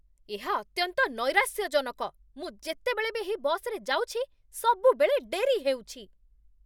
ଏହା ଅତ୍ୟନ୍ତ ନୈରାଶ୍ୟଜନକ! ମୁଁ ଯେତେବେଳେ ବି ଏହି ବସ୍‌ରେ ଯାଉଛି, ସବୁବେଳେ ଡେରି ହେଉଛି।